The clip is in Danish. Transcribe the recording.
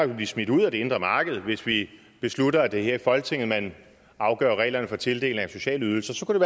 vil blive smidt ud af det indre marked hvis vi beslutter at det er her i folketinget man afgør reglerne for tildeling af sociale ydelser så kunne